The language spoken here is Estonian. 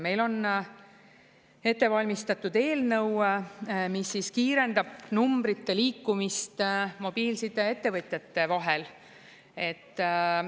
Meil on ette valmistatud eelnõu, mis kiirendab numbrite liikumist mobiilsideettevõtjate vahel.